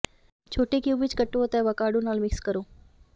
ਛੋਟੇ ਕਿਊਬ ਵਿੱਚ ਕੱਟੋ ਅਤੇ ਆਵਾਕੈਡੋ ਨਾਲ ਮਿਕਸ ਕਰੋ